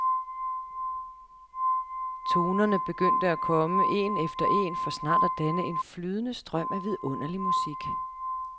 Tonerne begyndte at komme en efter en for snart at danne en flydende strøm af vidunderligt musik.